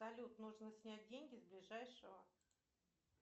салют нужно снять деньги с ближайшего